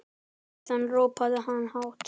Síðan ropaði hann hátt.